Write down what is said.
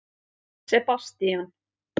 Sebastían